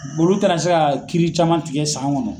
Olu taara se ka kiiri caman tigɛ san kɔnɔ.